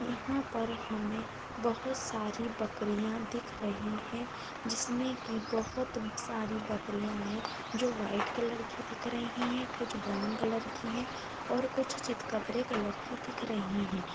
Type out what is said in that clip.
यहाँ पर हमें बहुत सारी बकरियाँ दिख रही है जिसमें की बहोत सारी बकरियाँ हैं जो वाइट कलर की दिख रही है | कुछ ब्राउन कलर की है और कुछ चितकबरे कलर की दिख रही हैं।